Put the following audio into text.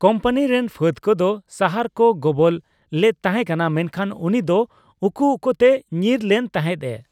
Company ᱨᱮᱱ ᱯᱷᱟᱹᱫ ᱠᱚᱫᱚ ᱥᱟᱦᱟᱨ ᱠᱚ ᱜᱚᱵᱚᱞ ᱞᱮᱫ ᱛᱟᱦᱮᱸ ᱠᱟᱱᱟ, ᱢᱮᱱᱠᱷᱟᱱ ᱨᱟᱱᱤ ᱫᱚ ᱩᱠᱩ ᱩᱠᱩ ᱛᱮ ᱧᱤᱨ ᱞᱮᱱ ᱛᱟᱦᱮᱸᱫ ᱼᱮ ᱾